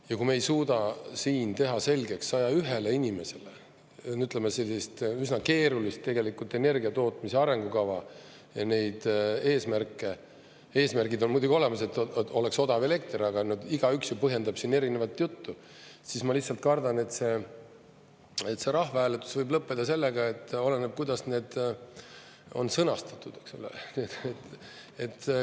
Ja kui me ei suuda siin teha selgeks 101 inimesele sellist üsna keerulist energia tootmise arengukava ja neid eesmärke – eesmärgid on muidugi olemas, et oleks odav elekter, aga igaüks ju põhjendab siin erinevat juttu –, siis, ma lihtsalt kardan, see rahvahääletus võib lõppeda sellega, et oleneb, kuidas need on sõnastatud.